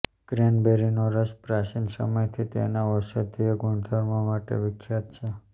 ક્રેનબેરીનો રસ પ્રાચીન સમયથી તેના ઔષધીય ગુણધર્મો માટે વિખ્યાત છે